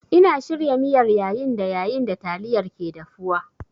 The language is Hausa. Ina shirya miyar yayin da yayin da taliyar ke dafuwa.